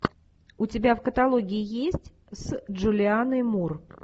у тебя в каталоге есть с джулианной мур